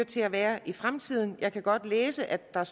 til at være i fremtiden jeg kan godt læse at der